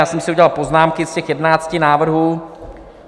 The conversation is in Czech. Já jsem si udělal poznámky z těch 11 návrhů.